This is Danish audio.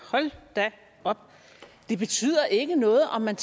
hold da op det betyder ikke noget om man